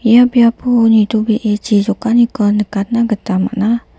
ia biapo nitobee chi jokaniko nikatna gita man·a.